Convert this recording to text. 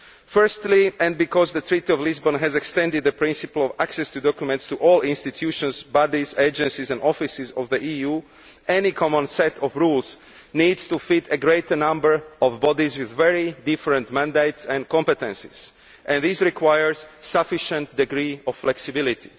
Firstly, and because the Lisbon Treaty has extended the principle of access to documents to all institutions, bodies, agencies and offices of the EU, any common set of rules needs to feed a greater number of bodies with very different mandates and competences and this requires a sufficient degree of flexibility.